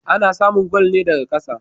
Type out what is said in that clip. Ana samun gwal ne daka ƙasa